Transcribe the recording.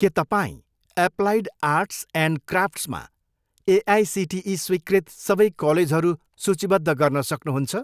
के तपाईँँ applied arts and क्राफ्ट्समा एआइसिटिई स्वीकृत सबै कलेजहरू सूचीबद्ध गर्न सक्नुहुन्छ?